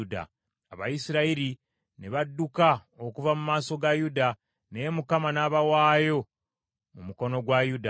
Abayisirayiri ne badduka okuva mu maaso ga Yuda, naye Mukama n’abawaayo mu mukono gwa Yuda.